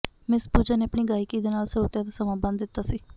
miss Pooja ਨੇ ਆਪਣੀ ਗਾਇਕੀ ਦੇ ਨਾਲ ਸਰੋਤਿਆਂ ਦਾ ਸਮਾਂ ਬੰਧ ਦਿੱਤਾ ਸੀ